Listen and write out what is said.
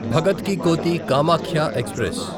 భగత్ కి కోఠి కామాఖ్య ఎక్స్ప్రెస్